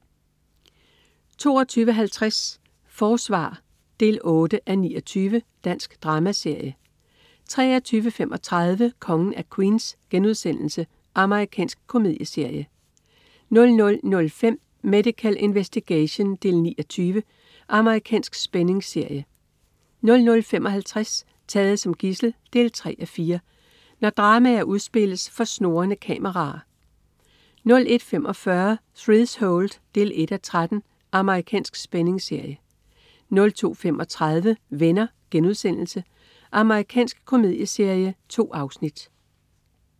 22.50 Forsvar 8:29. Dansk dramaserie 23.35 Kongen af Queens.* Amerikansk komedieserie 00.05 Medical Investigation 9:20. Amerikansk spændingsserie 00.55 Taget som gidsel 3:4. Når dramaer udspilles for snurrende kameraer 01.45 Threshold 1:13. Amerikansk spændingsserie 02.35 Venner.* Amerikansk komedieserie. 2 afsnit